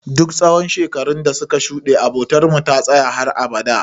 Duk tsawon shekarun dasuka shuɗe, abotarmu ta tsaya har abada.